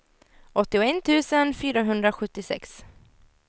åttioett tusen femhundrasjuttiosex